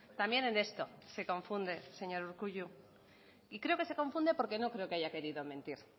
también en esto se confunde señor urkullu y creo que se confunde porque no creo que haya querido mentir